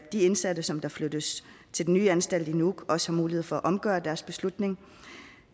de indsatte som flyttes til den nye anstalt i nuuk også har mulighed for at omgøre deres beslutning